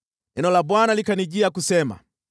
Neno la Bwana likanijia kusema: